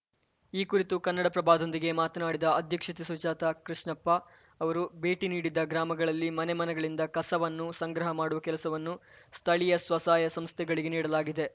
ಈ ಕುರಿತು ಕನ್ನಡಪ್ರಭದೊಂದಿಗೆ ಮಾತನಾಡಿದ ಅಧ್ಯಕ್ಷೆ ಸುಜಾತ ಕೃಷ್ಣಪ್ಪ ಅವರು ಭೇಟಿ ನೀಡಿದ್ದ ಗ್ರಾಮಗಳಲ್ಲಿ ಮನೆ ಮನೆಗಳಿಂದ ಕಸವನ್ನು ಸಂಗ್ರಹ ಮಾಡುವ ಕೆಲಸವನ್ನು ಸ್ಥಳೀಯ ಸ್ವಸಹಾಯ ಸಂಸ್ಥೆಗಳಿಗೆ ನೀಡಲಾಗಿದೆ